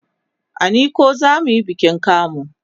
a nicon zamuyi bikin kamu